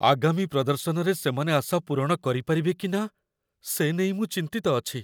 ଆଗାମୀ ପ୍ରଦର୍ଶନରେ ସେମାନେ ଆଶା ପୂରଣ କରିପାରିବେ କି ନା, ସେ ନେଇ ମୁଁ ଚିନ୍ତିତ ଅଛି।